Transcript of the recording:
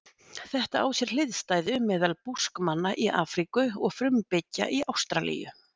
Þetta á sér hliðstæðu meðal Búskmanna í Afríku og frumbyggja Ástralíu.